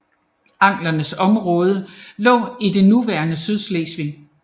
Anglernes område lå i det nuværende Sydslesvig